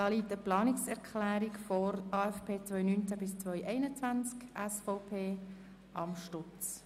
Hier liegt eine Planungserklärung SVP/Amstutz vor zum AFP 2019–2021.